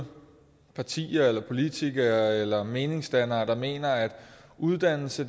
partier politikere eller meningsdannere der mener at uddannelse